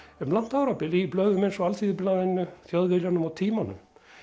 um langt árabil í blöðum eins og Alþýðublaðinu Þjóðviljanum og tímanum